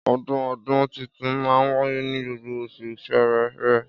Ọdún ọdún títùn mà wàyé ní gbogbo òsú sẹrẹrẹ